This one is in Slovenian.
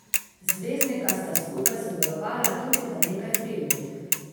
Zvezdnika sta skupaj sodelovala tudi v nekaj filmih.